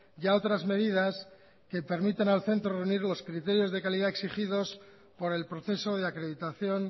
y a otras medidas que permitan al centro reunir los criterios de calidad exigidos por el proceso de acreditación